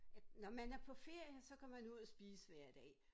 At når man er på ferie så går man ud at spise hver dag